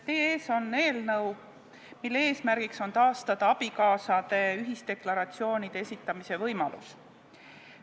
Teie ees on eelnõu, mille eesmärk on taastada abikaasade ühisdeklaratsioonide esitamise võimalus.